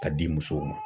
Ka di musow ma